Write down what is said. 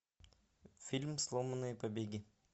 фильм сломанные побеги